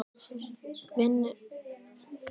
Vinurinn svífur út á gólfið og setur dömuna í skrúfstykki.